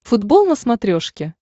футбол на смотрешке